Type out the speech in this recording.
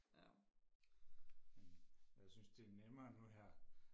ja men jeg synes det er nemmere nu her